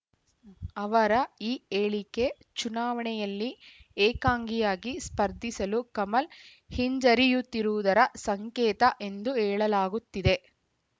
ಅವರ ಈ ಹೇಳಿಕೆ ಚುನಾವಣೆಯಲ್ಲಿ ಏಕಾಂಗಿಯಾಗಿ ಸ್ಪರ್ಧಿಸಲು ಕಮಲ್‌ ಹಿಂಜರಿಯುತ್ತಿರುವುದರ ಸಂಕೇತ ಎಂದು ಹೇಳಲಾಗುತ್ತಿದೆ